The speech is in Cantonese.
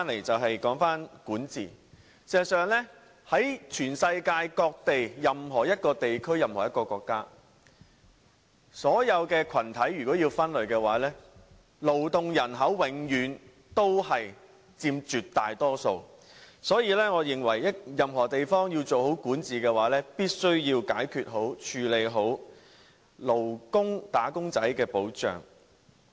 至於管治問題，世界各地任何一個地區或國家，如果要把所有群體分類，勞動人口永遠佔絕大多數，所以我認為任何地方要做好管治的話，必須要妥善解決及處理"打工仔"的保障。